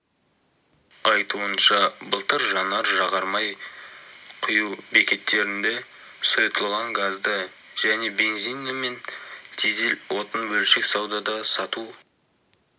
айтуынша былтыр жанар-жағармай құю бекеттерінде сұйытылған газды және бензині мен дизель отын бөлшек саудада сату